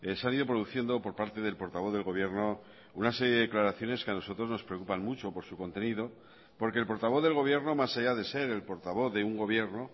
se han ido produciendo por parte del portavoz del gobierno una serie de declaraciones que a nosotros nos preocupan mucho por su contenido porque el portavoz del gobierno más allá de ser el portavoz de un gobierno